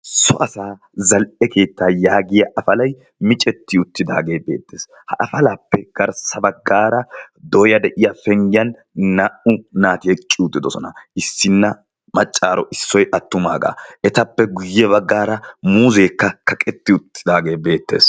sso asaa zal'e keettaa yaagiya afalay micetti uttidaagee beettees. ha afalaappe garssa baggaara dooya de'iya penyiyan naa'u naati eqqi utidosona. issinna maccaaro issoy attumaagaa. etappe guyye baggaara muuzeekka kaqetti uttidaagee beettees.